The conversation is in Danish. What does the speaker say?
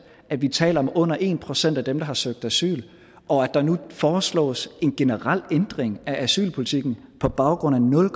at vi taler om under en procent af dem der har søgt asyl og at der nu foreslås en generel ændring af asylpolitikken på baggrund af nul